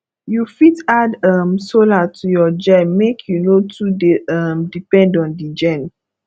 you fit add um solar to your gen make you no too dey um depend on di gen